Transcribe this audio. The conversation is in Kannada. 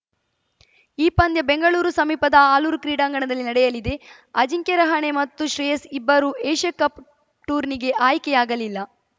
ಈ ಪಂದ್ಯ ಬೆಂಗಳೂರು ಸಮೀಪದ ಆಲೂರು ಕ್ರೀಡಾಂಗಣದಲ್ಲಿ ನಡೆಯಲಿದೆ ಅಜಿಂಕ್ಯ ರಹಾನೆ ಮತ್ತು ಶ್ರೇಯಸ್‌ ಇಬ್ಬರೂ ಏಷ್ಯಾಕಪ್‌ ಟೂರ್ನಿಗೆ ಆಯ್ಕೆಯಾಗಲಿಲ್ಲ